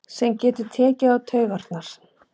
Sem getur tekið á taugarnar.